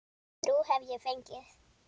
Þrjú hef ég fengið.